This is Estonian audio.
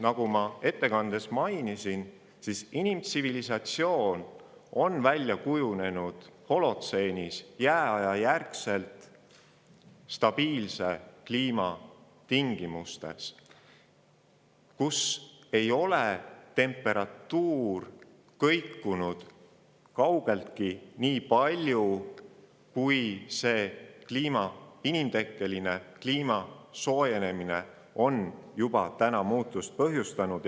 Nagu ma ettekandes mainisin, on inimtsivilisatsioon välja kujunenud holotseenis jääaja järel stabiilse kliima tingimustes, kus temperatuur ei kõikunud nii palju, kui inimtekkeline kliima soojenemine on juba täna muutusi põhjustanud.